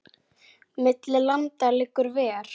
Milli landa liggur ver.